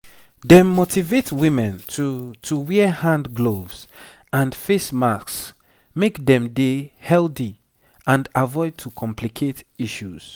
dem motivate women to to wear hand gloves and face masks make dem dey healthy and avoid to complicate issues